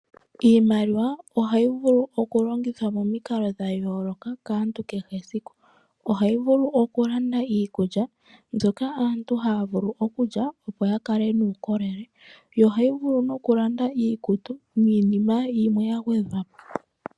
Iimaliwa ohayi vulu oku longithwa momikalo dhayooloka kaantu kehesiku . Ohayi vulu oku landa iikulya mbyoka aantu haavulu okulya opo yakale nuukolele. Yo ohayi vulu wo nokulanda niikutu niinima yimwe yagwedhwapo .